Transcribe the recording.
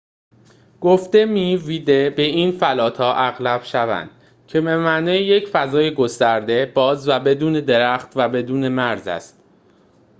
به این فلات ها اغلب vidde گفته می شود که به معنای یک فضای گسترده باز و بدون درخت و بدون مرز است